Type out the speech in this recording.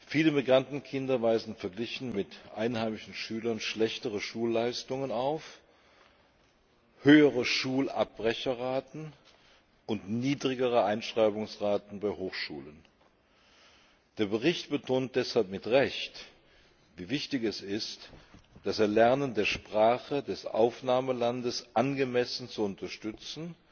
Viele Migrantenkinder weisen verglichen mit einheimischen Schülern schlechtere Schulleistungen auf, höhere Schulabbrecherraten und niedrigere Einschreibungsraten bei Hochschulen. Der Bericht betont deshalb mit Recht, wie wichtig es ist, das Erlernen der Sprache des Aufnahmelands angemessen zu unterstützen,